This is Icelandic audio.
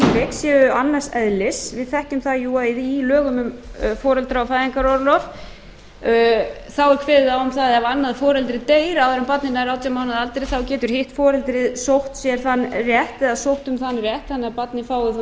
séu annars eðlis við þekkjum það jú að í lögum um foreldra og fæðingarorlof þá er kveðið á um það ef annað foreldrið deyr áður en barnið nær átján mánaða aldri þá getur hitt foreldrið sótt sér þann rétt eða sótt um þann rétt þannig að barnið fái